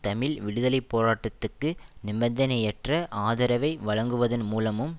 தமிழ் விடுதலை போராட்டத்துக்கு நிபந்தனையற்ற ஆதரவை வழங்குவதன் மூலமும்